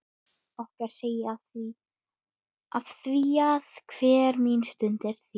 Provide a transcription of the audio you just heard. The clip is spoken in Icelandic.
Okkar segi ég afþvíað hver mín stund er þín.